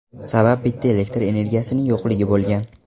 Sabab bitta elektr energiyaning yo‘qligi bo‘lgan.